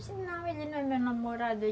Eu disse, não, ele não é meu namorado.